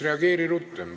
Reageeri rutem!